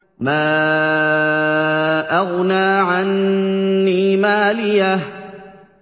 مَا أَغْنَىٰ عَنِّي مَالِيَهْ ۜ